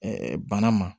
bana ma